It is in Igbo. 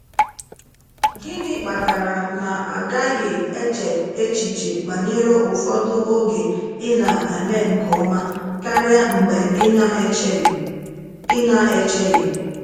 Gini kpatara na-agaghị eche echiche banyere ufodu oge i na eme nke ọma karia mgbe i na echeghi? i na echeghi?